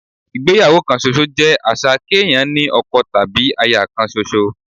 Ìgbéyàwó kan ṣoṣo jẹ́ àṣà kéèyàn ní ọkọ tàbí aya kan ṣoṣo